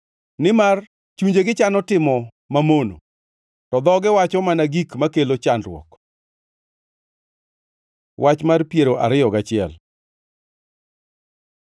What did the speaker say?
nimar chunjegi chano timo mamono to dhogi wacho mana gik makelo chandruok. Wach mar piero ariyo gachiel